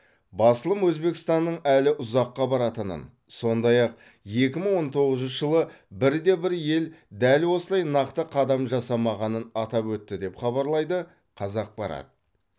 басылым өзбекстанның әлі ұзаққа баратынын сондай ақ екі мың он тоғызыншы жылы бір де бір ел дәл осылай нақты қадам жасамағанын атап өтті деп хабарлайды қазақпарат